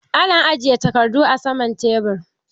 Ana ajiye takardu a saman tebur